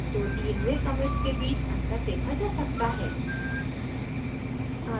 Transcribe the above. अब दो the हुए commits के बीच अंतर देखा जा सकता है